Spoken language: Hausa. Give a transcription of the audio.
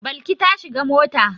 Balki ta shiga mota.